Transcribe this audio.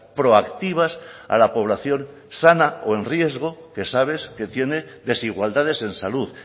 proactivas a la población sana o en riesgo que sabes que tiene desigualdades en salud